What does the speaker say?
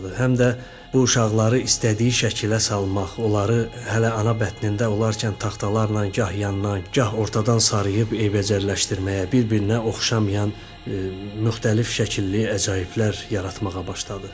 Həm də bu uşaqları istədiyi şəkilə salmaq, onları hələ ana bətnində olarkən taxtalarla gah yandan, gah ortadan sarıyıb eybəcərləşdirməyə, bir-birinə oxşamayan müxtəlif şəkilli əcaiblər yaratmağa başladı.